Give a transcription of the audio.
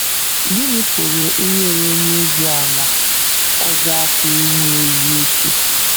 Gịnị pụrụ inyere onye ozi ala ọzọ aka inwe ezi uche?